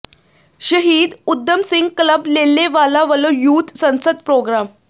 ਸ਼ਹੀਦ ਊਧਮ ਸਿੰਘ ਕਲੱਬ ਲੇਲੇਵਾਲਾ ਵੱਲੋਂ ਯੂਥ ਸੰਸਦ ਪ੍ਰੋਗਰਾਮ